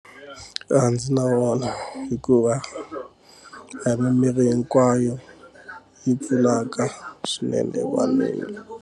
A ndzi na vona hikuva a hi mimirhi hinkwayo yi pfulaka swinene wa miri.